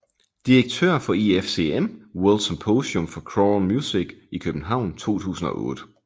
Direktør for IFCM World Symposium for Choral Music i København 2008